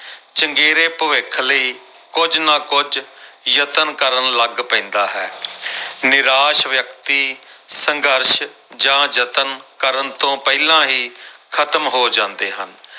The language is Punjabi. ਚੰਗੇਰੇ ਭਵਿੱਖ ਲਈ ਕੁੱਝ ਨਾ ਕੁੱਝ ਯਤਨ ਕਰਨ ਲੱਗ ਪੈਂਦਾ ਹੈ ਨਿਰਾਸ਼ ਵਿਅਕਤੀ ਸੰਘਰਸ਼ ਜਾਂ ਯਤਨ ਕਰਨ ਤੋਂ ਪਹਿਲਾਂ ਹੀ ਖ਼ਤਮ ਹੋ ਜਾਂਦੇ ਹਨ।